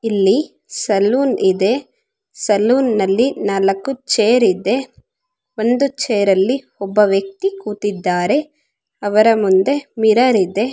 ಇಲ್ಲಿ ಸಲೂನ್ ಇದೆ ನಾಲಕ್ಕು ಚೇರ್ ಇದೆ ಒಂದು ಚೇರ್ ಅಲ್ಲಿ ಒಂದು ವ್ಯಕ್ತಿ ಕೂತಿದಾರೆ. ಅವರ ಮುಂದೆ ಮಿರರ್ ಇದೆ.